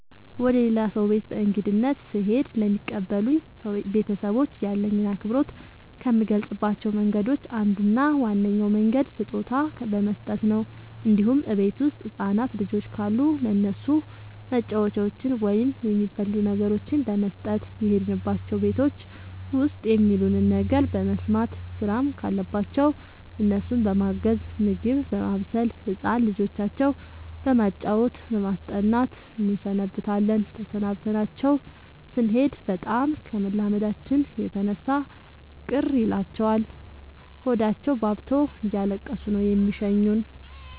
ወደ ሌላ ሰው ቤት በእንግድነት ስሄድ ለሚቀበሉኝ ቤተሰቦች ያለኝን አክብሮት ከምገልፅባቸው መንገዶች አንዱ እና ዋነኛው መንገድ ስጦታ በመስጠት ነው እንዲሁም እቤት ውስጥ ህፃናት ልጆች ካሉ ለእነሱ መጫወቻዎችን ወይም የሚበሉ ነገሮችን በመስጠት። የሄድንባቸው ቤቶች ውስጥ የሚሉንን ነገር በመስማት ስራም ካለባቸው እነሱን በማገዝ ምግብ በማብሰል ህፃን ልጆቻቸው በማጫወት በማስጠናት እንሰነብታለን ተሰናብተናቸው ስኔድ በጣም ከመላመዳችን የተነሳ ቅር ይላቸዋል ሆዳቸውባብቶ እያለቀሱ ነው የሚሸኙን።